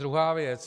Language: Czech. Druhá věc.